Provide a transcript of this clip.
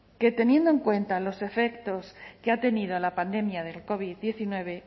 que teniendo en cuenta los efectos que ha tenido la pandemia del covid diecinueve